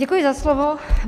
Děkuji za slovo.